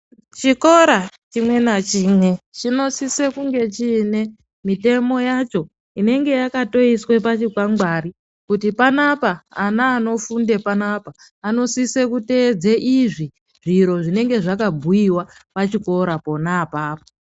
Chikora chimwe nachimwe chinosise kunge chine mitemo yacho inonga yakatoiswe pachikwangwari. Kuti panapa ana anofunde panapa anosise kuteedze izvi, zviro zvinenge zvekabhuiwa pachikora pona apapo.